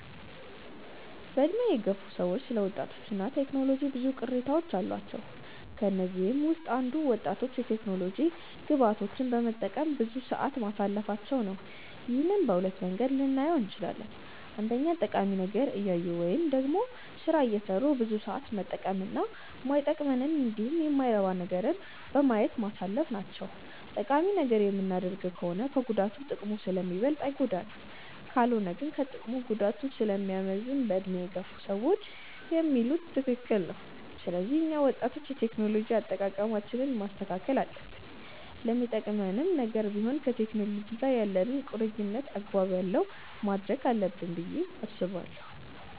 በዕድሜ የገፉ ሰዎች ስለ ወጣቶች እና ቴክኖሎጂ ብዙ ቅሬታዎች አሏቸው። ከነዚህም ውስጥ አንዱ ወጣቶች የቴክኖሎጂ ግብአቶችን በመጠቀም ብዙ ሰዓት ማሳለፋቸው ነው። ይህንን በሁለት መንገድ ልናየው እንችላለን። አንደኛ ጠቃሚ ነገር እያዩ ወይም ደግሞ ስራ እየሰሩ ብዙ ሰዓት መጠቀም እና ማይጠቅመንንን እንዲሁም የማይረባ ነገርን በማየት ማሳለፍ ናቸው። ጠቃሚ ነገር የምናደርግ ከሆነ ከጉዳቱ ጥቅሙ ስለሚበልጥ አይጎዳንም። ካልሆነ ግን ከጥቅሙ ጉዳቱ ስለሚያመዝን በዕድሜ የገፉ ሰዎች የሚሉት ትክክል ነው። ስለዚህ እኛ ወጣቶች የቴክኖሎጂ አጠቃቀማችንን ማስተካከል አለብን። ለሚጠቅምም ነገር ቢሆን ከቴክኖሎጂ ጋር ያለንን ቁርኝነት አግባብ ያለው ማድረግ አለብን ብዬ አስባለሁ።